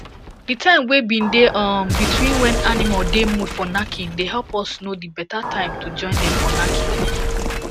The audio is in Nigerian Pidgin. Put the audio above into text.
the time wey been dey um between when animal dey mood for knacking dey help us know the betta time to join dem for knacking